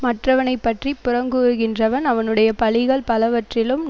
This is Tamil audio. மற்றவனை பற்றி புறங்கூறுகின்றவன் அவனுடைய பழிகள் பலவற்றிலும்